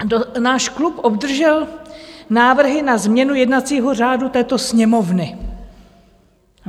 Náš klub obdržel návrhy na změnu jednacího řádu této Sněmovny.